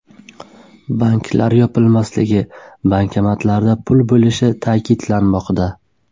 Banklar yopilmasligi, bankomatlarda pul bo‘lishi ta’kidlanmoqda.